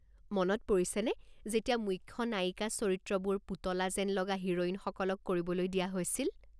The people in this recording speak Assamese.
মনত পৰিছেনে যেতিয়া মুখ্য নায়িকা চৰিত্ৰবোৰ পুতলা যেন লগা হিৰোইনসকলক কৰিবলৈ দিয়া হৈছিল।